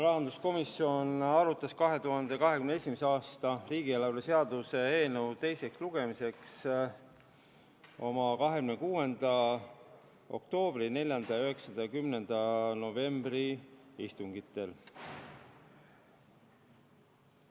Rahanduskomisjon arutas 2021. aasta riigieelarve seaduse eelnõu teisele lugemisele saatmiseks oma 26. oktoobri, 4., 9. ja 10. novembri istungitel.